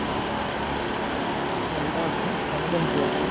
ଭଲ ଅଛି ତେମେ କେମିତି ଅଛ